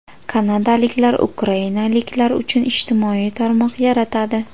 Kanadaliklar ukrainaliklar uchun ijtimoiy tarmoq yaratadi.